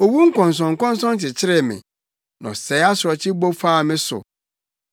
Owu nkɔnsɔnkɔnsɔn kyekyeree me; na ɔsɛe asorɔkye bu faa me so.